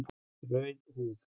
Rauð húð